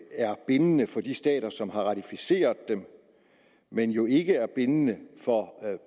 er bindende for de stater som har ratificeret dem men jo ikke er bindende for